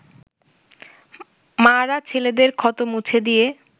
মা’রা ছেলেদের ক্ষত মুছে দিয়ে